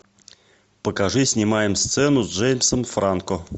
покажи снимаем сцену с джеймсом франко